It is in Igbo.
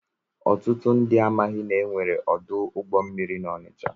Ọtụtụ ndị amaghị na e nwere ọdụ ụgbọ mmiri na Onịcha.